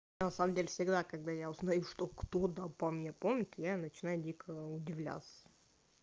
всегда когда я узнаю что кто-то обо мне помнит я начинаю дикого удивлялся